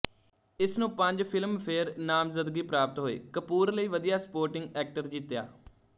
ਇਸ ਨੂੰ ਪੰਜ ਫਿਲਮਫੇਅਰ ਨਾਮਜ਼ਦਗੀ ਪ੍ਰਾਪਤ ਹੋਏ ਕਪੂਰ ਲਈ ਵਧੀਆ ਸਪੋਰਟਿੰਗ ਐਕਟਰ ਜਿੱਤਿਆ